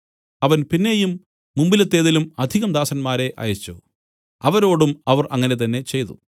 അവൻ പിന്നെയും മുമ്പിലത്തേതിലും അധികം ദാസന്മാരെ അയച്ചു അവരോടും അവർ അങ്ങനെ തന്നെ ചെയ്തു